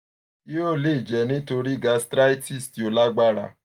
hio le jẹ nitori gastritis ti o lagbara